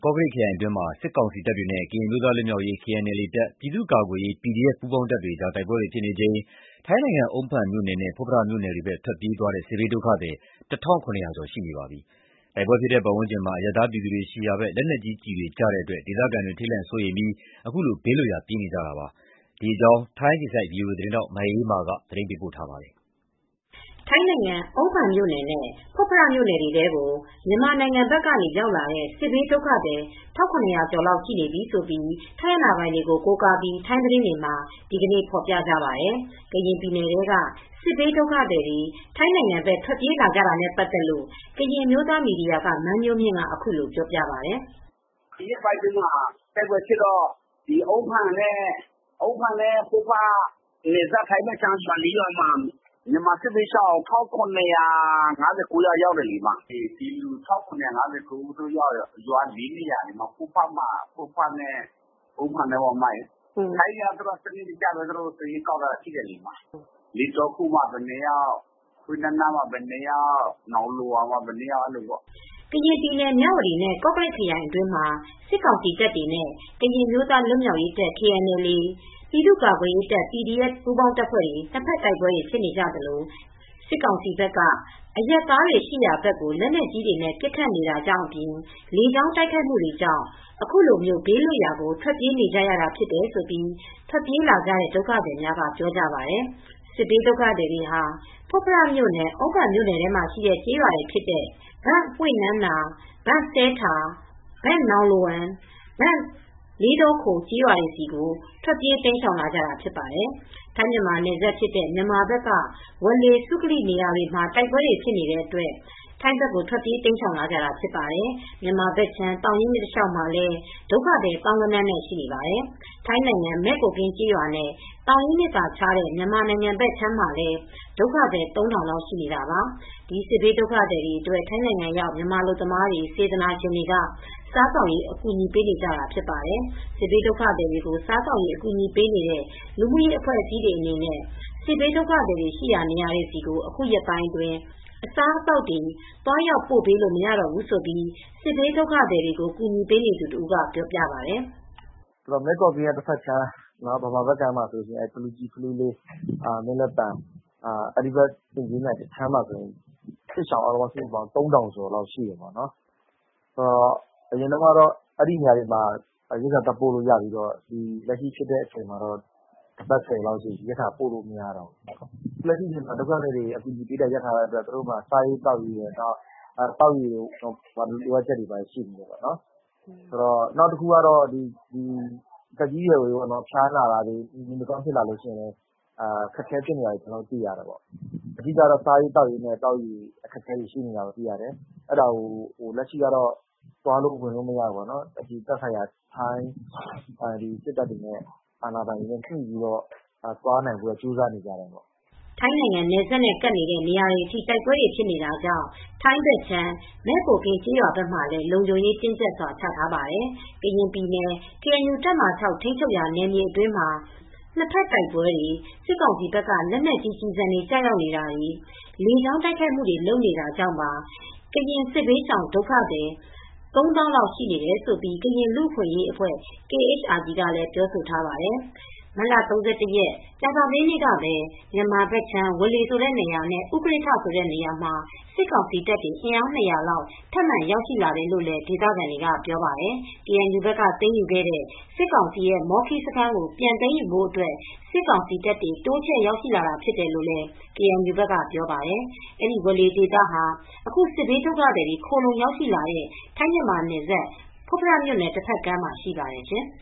ကော့ကရိတ်ခရိုင်အတွင်းမှာ စစ်ကောင်စီတပ်တွေနဲ့ ကရင်အမျိုးသားလွတ်မြောက်ရေး KNLA တပ်၊ ပြည်သူကာကွယ်ရေး PDF ပူးပေါင်းတပ်တွေကြား နှစ်ဘက်တိုက်ပွဲတွေဖြစ်နေချိန်မှာ ထိုင်းနိုင်ငံ အုန်းဖန်မြိုနယ်နဲ့ ဖွတ်ဖရမြို့နယ်တွေဘက် ပြေးလာကြ စစ်ဘေးဒုက္ခသည် ၁,၇၀၀ ကျော်ရှိနေပါပြီ။ တိုက်ပွဲဖြစ် တဲ့ပတ်ဝန်းကျင်မှာ အရပ်သားပြည်သူတွေရှိရာဘက် လက်နက်ကြီးကျည်တွေကျတဲ့နေတာကြောင့် ဒေသခံတွေ ထိန်လန့်စိုးရိမ်ပြီး ခုလို ဘေးလွတ်ရာ ပြေးနေကြတာဖြစ်ပါတယ်။ ဒီသတင်းကို ထိုင်းအခြေစိုက် ဗွီအိုအေ သတင်းထောက် မအေးအေးမာက သတင်းပေးပို့ထားပါတယ်။ ထိုင်းနိုင်ငံ အုန်းဖန်မြို့နယ်နဲ့ ဖွတ်ဖရမြို့နယ်တွေထဲကို မြန်မာနိုင်ငံဘက်ကရောက်လာတဲ့ စစ်ဘေးဒုက္ခသည် ၁,၇၀၀ ကျော်ရှိနေပြီလို့ ထိုင်းအာဏာပိုင်တွေကို ကိုးကားပြီး ထိုင်းသတင်းတွေမှာ ဒီနေ့ ဖော်ပြကြပါတယ်။ ကရင်ပြည်နယ်ထဲက စစ်ဘေးဒုက္ခသည်တွေ ထိုင်းနိုင်ငံဘက် ထွက်ပြေးလာကြတဲ့အခြေအနေကို ကရင်အမျိုးသားမီဒီယာက မန်းမျိုးမြင့်က အခုလို ပြောပြပါတယ်။ “ဒီရက်ပိုင်းအတွင်းမှာတိုက်ပွဲဖြစ်တော့ အုန်းဖန်နဲ့ ဖွတ်ဖရမြို့နယ်ထဲမှာ ထိုင်းနယ်စပ်ဘက်နဲ့နီးတော့ မြန်မာစစ်ဘေးရှောင် ၁,၇၅၉ ယောက် ရောက်တယ်။ အုန်းဖန်နဲ့ ဖွတ်ဖရထဲက ရွာအသီးသီးမှာတော့ ထိုင်းတွေကတော့ စနစ်တကျ စာရင်းကောက်ထားတာရှိတယ်။ လေးတောခိုမှာ ဘယ်နှစ်ယောက်၊ ဟွေ့နမ်နာမှာ ဘယ်နှစ်ယောက်။ နောင်လိုဝမ်မှာ ဘယ်နှစ်ယောက် အဲဒီလိုပေါ့။” ကရင်ပြည်နယ်၊ မြဝတီနဲ့ ကော့ကရိတ်ခရိုင်အတွင်းမှာ စစ်ကောင်စီတပ်တွေနဲ့ ကရင်အမျိုးသားလွတ်မြောက်ရေး KNLA တပ်၊ ပြည်သူကာကွယ်ရေး PDF ပူးပေါင်းတပ်ဖွဲ့တွေ ၂ ဘက်တိုက်ပွဲတွေဖြစ်နေသလို စစ်ကောင်စီဘက် က အရပ်သားတွေရှိရာဘက် လက်နက်ကြီးတွေ ပစ်ခတ်နေတာကြောင့်အပြင် လေကြောင်းတိုက်ခိုက်မှုတွေကြောင့် ခုလိုဘေးလွတ်ရာ ထွက်ပြေးနေကြတာဖြစ်တယ်လို့ ထွက်ပြေးလာကြတဲ့ ဒုက္ခသည်အများအပြားက ပြောကြပါတယ်။ စစ်ဘေးဒုက္ခသည်တွေဟာ ဖွတ်ဖရမြို့နယ်နဲ့ အုန်းဖန်မြို့နယ်ထဲမှာရှိတဲ့ ဘန့်ဟွေ့နမ့်နာ၊ ဘန့်စဲထာ့၊ ဘန့်နောင် လိုဝမ်၊ ဘန့်လေးတောခို့ စတဲ့ ကျေးရွာတွေဆီကို ထွက်ပြေး တိမ်းရှောင်လာကြတာဖြစ်ပါတယ်။ ထိုင်းမြန်မာနယ်စပ်ဖြစ်တဲ့ မြန်မာဘက်က ဝေါ်လေ၊ စုကလီ စတဲ့နေရာတွေမှာ တိုက်ပွဲတွေဖြစ်တဲ့အတွက် ထိုင်းဘက်ကို ထွက်ပြေးတိမ်းရှောင်လာကြတာဖြစ်ပါတယ်။ မြန်မာနိုင်ငံဘက်ခြမ်း သောင်ရင်းမြစ်တလျောက်မှာလည်း ဒုက္ခသည် သောင်းဂဏန်းနဲ့ရှိနေပါတယ်။ ထိုင်းနိုင်ငံ မယ့်ကိုကင်းကျေးရွာနဲ့ သောင်ရင်းမြစ်သာခြားတဲ့ မြန်မာနိုင်ငံဘက် အခြမ်းမှာလည်း ဒုက္ခသည် ၃ ထောင်လောက်ရှိနေတာပါ။ ဒီစစ်ဘေးဒုက္ခသည်အတွက် ထိုင်းနိုင်ငံရောက် မြန်မာအလုပ်သမားတွေ၊ စေတနာရှင်တွေက စားသောက်ရေး အကူအညီပေးနေကြတာ ဖြစ်ပါတယ်။ စစ်ဘေးဒုက္ခသည်တွေကို စားသောက်ရေးအကူညီပေးတဲ့ လူမူရေးအဖွဲ့အစည်းတွေအနေနဲ့ စစ်ဘေးဒုက္ခသည် တွေရှိတဲ့နေရာတွေဆီ အခုရက်ပိုင်း အစာအသောက်တွေ သွားရောက်ပို့ပေးလို့ မရတော့ဘူးလို့ စစ်ဘေးဒုက္ခသည်တွေကို အကူညီပေးနေသူတဦးက ပြောပါတယ်။ “မဲ့ကိုကင်းရဲ့တဘက်ခြမ်း မြန်မာဘက်မှာဆိုလို့ရှိရင် ဖလူလေး တောင်ခြေ၊ မင်းလက်ပံ၊ အင်ကြင်းမြိုင်ဘက်မှာ စစ်ဘေးရှောင် ၃ ထောင်လောက်ရှိတယ်။ အရင်တုန်းကတော့ အဲဒီဘက်ခြမ်းကလူတွေအတွက် စားနပ်ရိက္ခာတွေ ပို့လို့ရပေမယ့် အခုတော့ တပတ် ဆယ်ရက်လောက်ရှိပြီ၊ စားစရာတွေ သွားပို့လို့ မရဘူး။ လက်ရှိမှာက စစ်ဘေးရှောင်ဒုက္ခသည်တွေက စာစရာနဲ့ သောက်ရေတွေ လိုအပ်တယ်။ သက်ကြီးရွယ်အိုတွေအတွက် ဖျားနာတဲ့အခါ အခက်အခဲတွေဖြစ်တယ်။ ဆေးဝါးတွေ လိုအပ်ပါတယ်။ စားရေးသောက်ရေးနဲ့ သောက်ရေတွေ လိုနေကြတာ ရှိတယ်။ အခုတော့ ထိုင်းအာဏာပိုင်တွေ ထိုင်းစစ်တပ်တွေနဲ့ ညှိနှိုင်းပြီး သွားလာဖို့တော့ လုပ်နေကြပါတယ်။” ထိုင်းနိုင်ငံနယ်စပ်နဲ့ကပ်နေတဲ့နေရာတွေအထိ တိုက်ပွဲတွေဖြစ်နေတာကြောင့် ထိုင်းဘက်ခြမ်း မဲ့ကိုကင်ကျေးရွာဘက်မှာလည်း လုံခြုံရေးတင်းကြပ်စွာ ချထားပါတယ်။ ကရင်ပြည်နယ် KNU တပ်မဟာ ထိန်းချုပ်ရာနယ်မြေအတွင်းမှာ နှစ်ဘက်တိုက်ပွဲတွေ၊ စစ်ကောင်စီဘက်က လက်နက်ကြီးကျည်ဆံတွေ ကျရောက်နေတာတွေ၊ လေကြောင်းက တိုက်ခိုက်နေတာတွေကြောင့်ပါ ကရင်စစ်ဘေးရှောင် ၃ သောင်းလောက်အထိ ရှိနေတယ်လို့ ကရင်လူအခွင့်ရေးအဖွဲ့KHRG ကလည်းပြောဆိုထားပါတယ်။ မတ်လ ၃၁ ရက်၊ ကြာသပတေးနေ့ကပဲ မြန်မာဘက်ခြမ်း ဝေါလေနေရာနဲ့ ဥကရစ်ထ ဆိုတဲ့နေရာမှာ စစ်ကောင်စီတပ်တွေ အင်အား ၂၀၀ လောက် ထပ်မံရောက်ရှိလာတယ်လို့လည်း ဒေသခံတွေက ပြောပါတယ်။ KNU ဘက်က သိမ်းယူခဲ့တဲ့ စစ်ကောင်စီရဲ့ မောခီးစခန်းကို ပြန်သိမ်းယူဖို့အတွက် စစ်ကောင်စီတပ်တွေ တိုးချဲ့ရောက် ရှိလာတာဖြစ်တယ်လို့ KNU ကပြောပါတယ်။ အဲဒီဝေါ်လေဒေသဟာ အခု စစ်ဘေးဒုက္ခသည်တွေ ခိုလှုံရောက်ရှိလာတဲ့ ထိုင်းမြန်မာနယ်စပ် ဖွတ်ဖရမြို့နယ် တဘက်ကမ်းမှာ ရှိပါတယ်ရှင်။